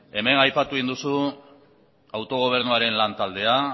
hemen aipatu duzu autogobernuaren lantaldea